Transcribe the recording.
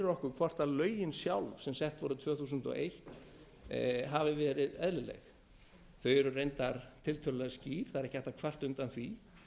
okkur hvort lögin sjálf sem sett voru tvö þúsund og eitt hafi verið eðlileg þau eru reyndar tiltölulega skýr það er beri hægt að kvarta undan því